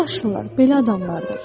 Bu yaşlılar belə adamlardır.